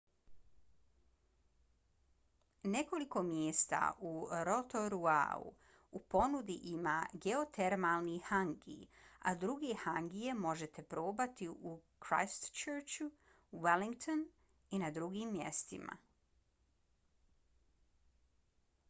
nekoliko mjesta u rotoruau u ponudi ima geotermalni hangi a druge hangije možete probati u christchurchu wellingtonu i na drugim mjestima